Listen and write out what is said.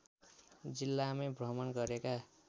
जिल्लामै भ्रमण गरेका